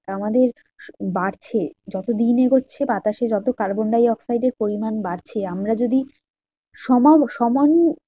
আমাদের বাড়ছে যত দিন এগোচ্ছে বাতাসে যত কার্বন ডাই অক্সাইড এর পরিমান বাড়ছে আমরা যদি